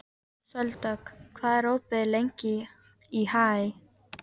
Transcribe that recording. Sóldögg, hvað er opið lengi í HÍ?